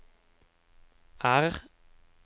R